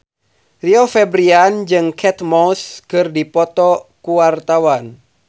Rio Febrian jeung Kate Moss keur dipoto ku wartawan